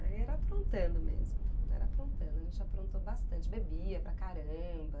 Aí era aprontando mesmo, era aprontando, a gente aprontou bastante, bebia para caramba.